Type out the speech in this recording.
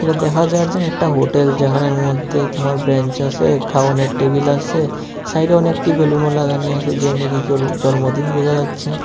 দেখা যার জানি একটা হোটেল যেখানের মধ্যে তোমার ব্রেঞ্চ আসে খাওনের টেবিল আসে সাইডে অনেক টেবিল উনো লাগানি আছে যের নাকি কারো জন্মদিন বোঝা যাচ্ছে।